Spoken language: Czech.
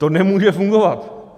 To nemůže fungovat.